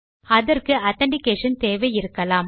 அதற்கு ஆதென்டிகேஷன் தேவையிருக்கலாம்